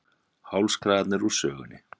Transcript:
Hálskragarnir úr sögunni